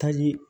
Ka ɲi